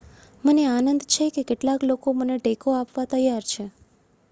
મને આનંદ છે કે કેટલાક લોકો મને ટેકો આપવા તૈયાર છે